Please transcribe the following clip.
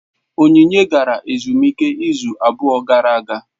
Onyinye gara ezumike izu abụọ gara aga.